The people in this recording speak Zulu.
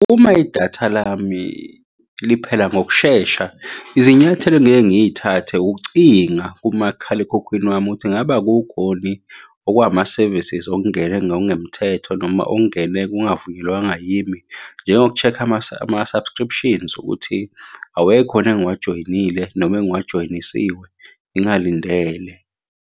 Uma idatha lami liphela ngokushesha, izinyathelo engiyeke ngiy'thathe ukucinga kumakhalekhukhwini wami ukuthi ngabe kukhoni okuwama-services okungene ngokungemthetho, noma okungene kungavunyelwanga yimi. Njengoku-check-a ama-subscriptions ukuthi awekhoni engiwajoyinile noma engiwajoyinisiwe ngingalindele.